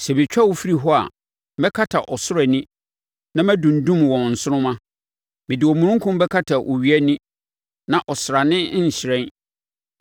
Sɛ metwa wo firi hɔ a, mɛkata ɔsoro ani na madundum wɔn nsoromma; mede omununkum bɛkata owia ani, na ɔsrane renhyerɛn.